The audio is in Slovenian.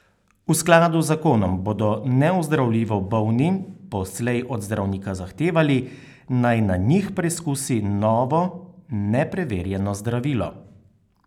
V skladu z zakonom bodo neozdravljivo bolni poslej od zdravnika zahtevali, naj na njih preizkusi novo nepreverjeno zdravilo.